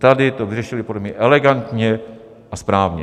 Tady to vyřešili podle mě elegantně a správně.